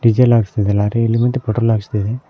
Diesel ಹಾಕ್ಸ್ತಿದೆ lorry ಇಲ್ಲಿ ಬಂದು ಪೆಟ್ರೋಲ್ ಹಾಕ್ಸ್ತಿದೆ.